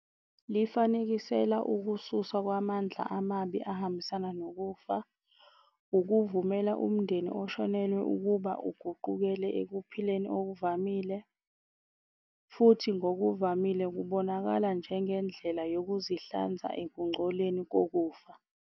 Lifanekisela ukususwa kwamandla amabi ahambisana nokufa. Ukuvumela umndeni oshonelwe ukuba uguqukele ekuphileni okuvamile, futhi ngokuvamile kubonakala njengendlela yokuzihlanza ekungcoleni kokufa.